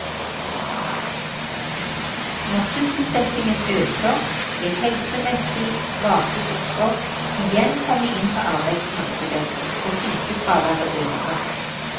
Når sysselsettingen øker, vil helsemessig svake grupper igjen komme inn på arbeidsmarkedet, og sykefraværet øker.